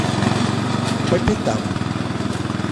по пятам